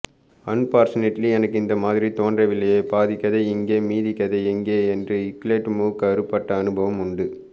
unfortunately எனக்கு இதுமாதிரி தோன்றவில்லையேபாதிக்கதை இங்கே மீதிக்கதைஎங்கே என்று க்லேட்டு மூக்கு அறுபட்ட அனுபவம் உண்டு